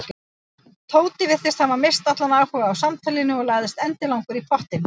Tóti virtist hafa misst allan áhuga á samtalinu og lagðist endilangur í pottinn.